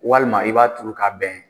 Walima i b'a turu ka bɛn